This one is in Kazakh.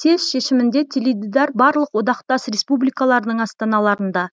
съезд шешімінде теледидар барлық одақтас республикалардың астаналарында